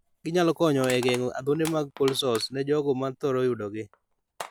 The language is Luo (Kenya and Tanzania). Ginyalo konyo e geng'o adhonde mag cold sores ne jogo ma thoro yudo gi.